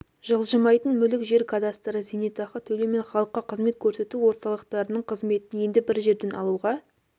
жылжымайтын мүлік жер кадастрі зейнетақы төлеу мен халыққа қызмет көрсету орталықтарының қызметін енді бір жерден алуға